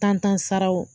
Tan saraw